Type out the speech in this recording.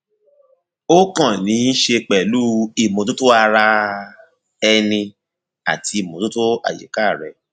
ó kàn níí ṣe pẹlú ìmọtótó ara ẹni àti ìmọtótó àyíká rẹ